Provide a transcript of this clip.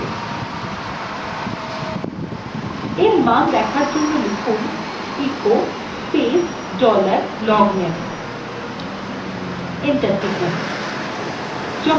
in মান দেখার জন্য লিখুন echo space dollar logname enter টিপুন